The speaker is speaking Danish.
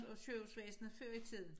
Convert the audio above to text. Og sygehusvæsenet før i tiden